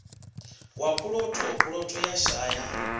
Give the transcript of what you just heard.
wa puloto puloto ya shaya